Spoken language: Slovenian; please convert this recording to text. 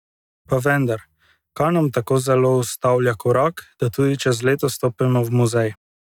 Pa vendar, kaj nam tako zelo ustavlja korak, da tudi čez leto stopimo v muzej?